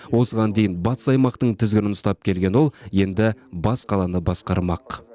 осыған дейін батыс аймақтың тізгінін ұстаған ол енді бас қаланы басқармақ